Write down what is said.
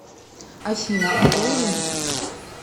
афина а должен